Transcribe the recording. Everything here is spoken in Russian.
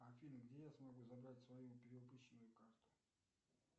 афина где я смогу забрать свою перевыпущенную карту